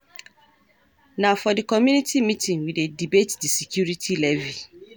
Na for di community meeting we dey debate di security levy.